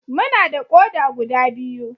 Muna da ƙoda guda biyu.